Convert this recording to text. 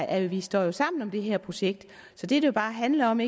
at vi står sammen om det her projekt så det det bare handler om